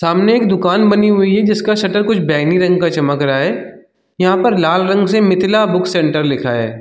सामने एक दुकान बनी हुई है जिसका शटर कुछ बैगनी रंग का चमक रहा है यहाँ पर लाल रंग से मिथिला बुक सेंटर लिखा है।